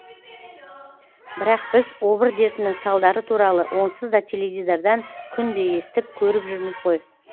бірақ біз обыр дертінің салдары туралы онсыз да теледидардан күнде естіп көріп жүрміз ғой